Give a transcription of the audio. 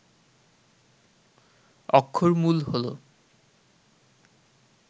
অক্ষরমূল হল